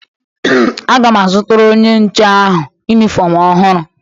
Aga m azụtara onye nche ahụ yunifọmu ọhụrụ.